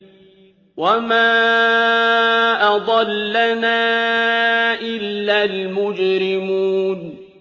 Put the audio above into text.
وَمَا أَضَلَّنَا إِلَّا الْمُجْرِمُونَ